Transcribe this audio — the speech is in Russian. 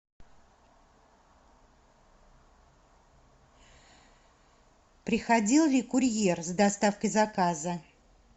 приходил ли курьер с доставкой заказа